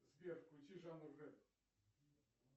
сбер включи жанр рэп